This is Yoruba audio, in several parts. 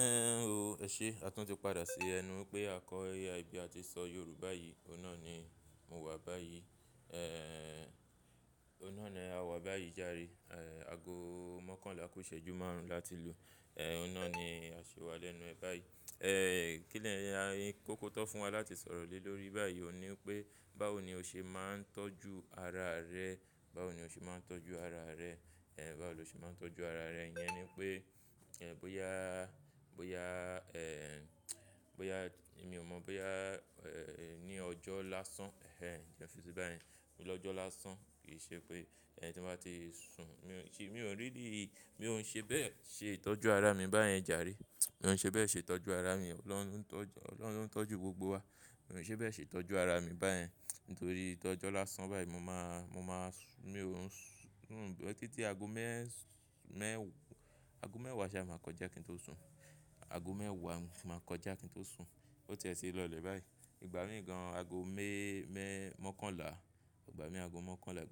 Ẹ̀ o, eṣé àtún ti padà sí ẹnu wipé a kọ AI bí a ti sọ Yorùbá yìí, òhun náà ni mo wà báyìí. Òhun náà ni a wà báyìí járe. Ago mọ́kànlá ku iṣẹ́jú márùn-ún láti lu. Òhun náà ni a ṣi wá lẹ́nu ẹ báyìí. Kóko ti won fún wa láti sọ̀rọ̀ lé lórí báyìí ò ni wí pé báwo ni o ṣe máa ń tọ́jú ara rẹ. Báwo ni o ṣe máa ń tọ́jú ara rẹ. Báwo lo ṣe máa ń tọ́jú ara rẹ. Iyen ni pé, iyen bóyá, bóyá, ẹ̀, bóyá mi ò mọ̀, bóyá, ẹ́, ní ọjọ́ lásán, ẹ́hẹ́n, ẹ́ fí sí bá yẹn. Lọ́jọ́ lásán kì í ṣe pé ẹn tí bá ti sun, mi ò n-- mi ò really, mi ò ń ṣe bẹ́ẹ̀ ṣe ìtọ́jú ara mi báyẹn jàre. Mi ò ń ṣe bẹ́ẹ̀ ṣe ìtọ́jú ara mi. Ọlọ́run tọ́jú, Ọlọ́run tọ́jú gbogbo wa. Mi ò ń ṣe bẹ́ẹ̀ ṣe ìtọ́jú ara mi báyẹn nítorí tọ́jọ́ lásán báyìí mo máa, mo máa sùn, mi ò ń sùn títí ago mẹ́es. Mẹ́ wa. Ago mẹ́wàá ṣá máa kọjá kí n tó sun. Ago mẹ́wàá ni mo ti maa kọjá kí n tó sun. Ó tie tí lọ́lẹ̀ báyìí. Ìgbà mí ní gan, ago me-mẹ́, mọ́kànlá, ìgbà mí ago mọ́kànlá,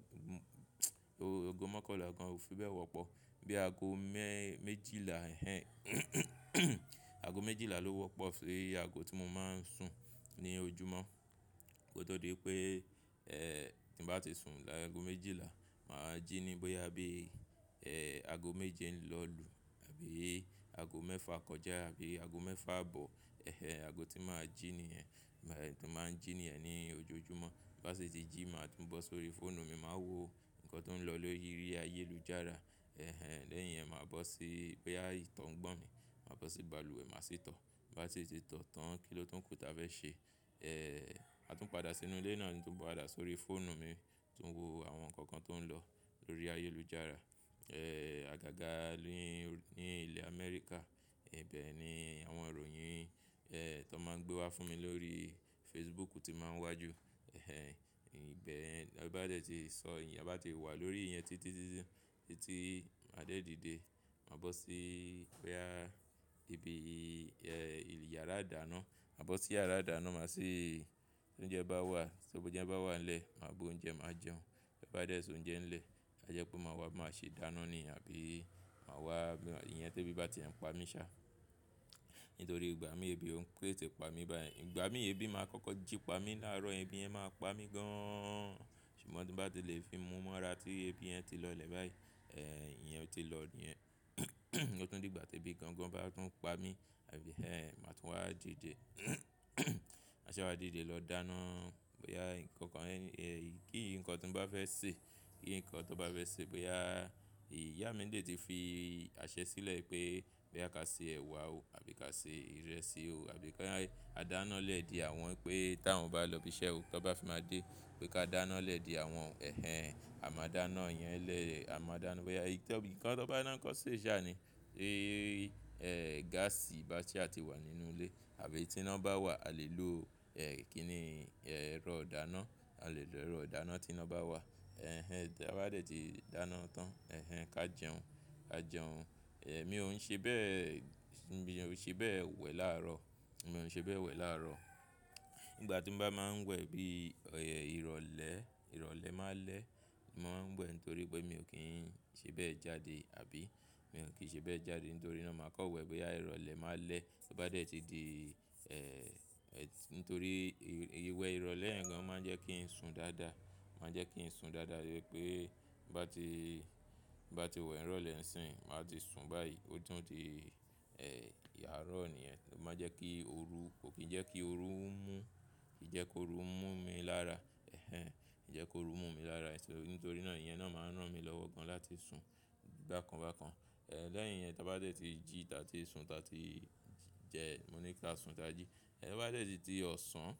ogo mọ́kànlá gan ò fi bẹ́ẹ̀ wọ́pọ̀. Bí i ago mẹ́ẹ́ méjìlá, ẹ́hẹ́n ago méjìlá ló wọ́pọ̀ si ìyè ago tí mo máa ń sùn ní ojúmọ́. Ko tó di pé, ẹ́, tí bá ti sun láaago méjìlá, màá jí ní bóyá bí i, ẹ́, ago méje lọ́ n lù àbí ago mẹ́fà kọjá àbí ago mẹ́fà bọ̀. Ẹhẹ́n, ago tí màá jí nìyẹn. Màá ń jí nìyẹn ní ojoojúmọ́. Bá sì tí jí, màá tún bọ́ sórí fóònù mi, màá wo nǹkan tó ń lọ lórí ayélujára. Ẹ́hẹ́n, lẹ́yìn yẹn màá bọ́ sí, bóyá ìtàn ń gbọ̀n mí, màá bọ́ sí balùwẹ̀, màá sì tọ̀. Bá sì ti tọ̀ tán, kìlọ́ tó ń kú tí a fẹ́ ṣe. Ẹ̀, àtún padà sínú ilé náà ni tun padà sórí fóònù mi tuń wo àwọn nǹkan kan tó ń lọ lórí ayélujára. Ẹ̀, àgàgà ní, ní ilẹ̀ Amẹ́ríkà. Ibe ni àwọn ìròyìn eh to maa n gbe wa fún mi lórí facebook ti n ma waa ju ẹ́hẹ́n, ìbẹ̀ yen, ti a bá dẹ̀ ti sọ, ìyẹn bá ti wà lórí ìyẹn títí, títí, títí màá dé dìde. Màá bọ́ sí i, bóyá ibi, ẹ́, ìyàrá àdáná, màá bọ́ sí yàrá àdáná, màá sì tounjẹ bá wà, so boúnjẹ bá wà lẹ́ẹ̀, màá bu oúnjẹ, màá jẹun. Ti o ba dẹ̀ soúnjẹ ńlẹ̀, ajẹ́ pé màá wá, màá ṣe dáná ni àbí màá wá, ìyẹn tebi bá ti e ń pa mí ṣá. Nítorí ìgbà mí ebi òun tètè pa mí báyẹn. Ìgbà mí ebi máa kọ́kọ́ jípa mí láàárọ̀, ebi yẹn máa pa mí gáán. Ṣùgbọ́n tí bá ti lè fi mú mọ́ra tí ebi yẹn ti lọ́lẹ̀ báyìí, ẹ́, ìyẹn ti lọ yẹn. Ó tún di ìgbà tí ebi gangan bá tún ń pa mí, àbí ẹ́, màá tún wá dìde. Màá ṣe wá dìde lọ dáná, bóyá nǹkan kan eyikeyí nǹkan ti n bá fẹ́ sè, kí nǹkan tó bá fẹ́ sè, bóyá ìyá mi dè tí fi àṣẹ sílẹ̀ pé bí a ká ṣe ẹ̀wà o àbí ká ṣe ìrẹsì o àbí ká, a dáná lẹ́ de àwọn wipé tí àwọn bá lọ ibi iṣẹ́ o, tí wọ́n bá fi máa dé pé ká dáná lẹ́ de àwọn. Ẹ́hẹ́n, a máa dáná, ìyẹn lee a máa dáná. Bóyá nǹkan tó bá ni ko ṣé náà ni. Ee, gáàsì bá sa ti wà nínú ilé àbí tí iná bá wà, a lè lò. Eh, kini e ero ìdáná a lè lò erọ̀ dáná tí iná bá wà. Ẹ́hẹ́n, tí a bá dẹ̀ ti dáná tán, ẹ́hẹ́n, ká jẹun. A jẹun. Ẹ̀, mi ò ń ṣe bẹ́ẹ̀, mi ò ń ṣe bẹ́ẹ̀ wẹ̀ láàárọ̀. Mi ò ń ṣe bẹ́ẹ̀ wẹ̀ láàárọ̀. Ìgbà tí mo bá máa ń wẹ̀ bíi, ẹ́, ìrọ̀lẹ́, ìrọ̀lẹ́ máa lẹ́, mo máa ń wẹ̀ nítorí pé mi ò kí n ṣe bẹ́ẹ̀ jáde àbí mi ò kí ṣe bẹ́ẹ̀ jáde nítorí náà màá kọ́ wẹ̀ bóyá ìrọ̀lẹ́ máa lẹ́. Bá dẹ̀ ti di, ẹ́, nítorí ìwẹ̀ ìrọ̀lẹ́ yẹ̀ gan máa ń jẹ́ kí n sùn dáadáa. Máa jẹ́ kí n sùn dáadáa pé bá ti, bá ti wẹ̀ ìrọ̀lẹ́ ńsìn, màá ti sùn báyìí. Ó tún di, ẹ́, àárọ̀ nìyẹn. Kò máa jẹ́ kí ooru, kò kí jẹ́ kí ooru mú, kí jẹ́ kí ooru mú mi lára. Ẹ́hẹ́n, kí jẹ́ kí ooru mú mi lára. Nítorí náà ìyẹn náà máa ń rán mi lọ́wọ́ gan láti sùn bákan bákan. Ẹ̀, lẹ́yìn yẹn tí a bá dẹ̀ ti jí, ta tí ń sùn, ta tí ń jẹun, mo ní ká sùn ka ji ẹ̀, to bá dẹ̀ ti di ọ̀sán,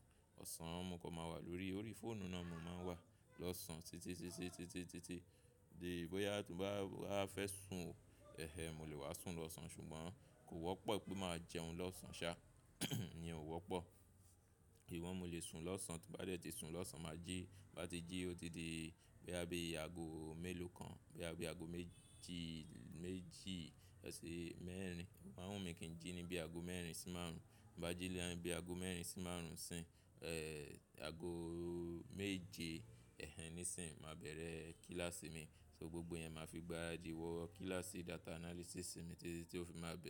ọ̀sán mọ́kàn máa n wà lórí, orí fóònù náà mo máa n wà lọ́sàn-án títí, títí, títí, títí di bóyá tó bá, wá fẹ́ sùn o. Ẹ́hẹ́n, mo lè wá sùn lọ́sàn-án ṣùgbọ́n kò wọ́pọ̀ pé màá jẹun lọ́sàn ṣá, ìyẹn ò wọ́pọ̀. I wọ́n mo lè sùn lọ́sàn. Tí n bá dẹ̀ ti sùn lọ́sàn, màá jí. Bá ti jí ó tun di bí i ago mélòó kan, bí i ago méjì, méjì, ẹ́ sì mẹ́rin. O máa ń wù mí kí n jí ní bí i ago mẹ́rin sí márùn-ún. Tin bá jí lé ẹ́yin bí i ago mẹ́rin sí márùn-ún sì n, ẹ́, ago méje, ẹ́hẹ́n, nísìí, màá bẹ̀rẹ̀ kílàsì mi. So gbogbo yẹn màá fi gbaràdí wọ́ kílàsì data analysis mi títi o fi máa bẹ̀rẹ̀.